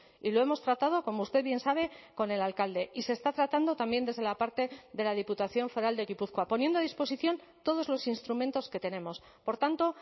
y lo hemos tratado como usted bien sabe con el alcalde y se está tratando también desde la parte de la diputación foral de gipuzkoa poniendo a disposición todos los instrumentos que tenemos por tanto